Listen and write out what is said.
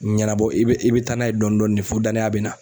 Ɲɛnabɔ i bɛ i bɛ taa n'a ye dɔɔnin dɔɔnin fo danaya bɛ na.